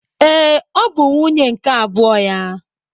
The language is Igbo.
Ee, ọ bụ nwunye nke abụọ ya.